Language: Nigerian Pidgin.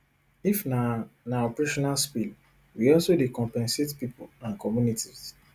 if na na operational spill we also dey compensate pipo and communities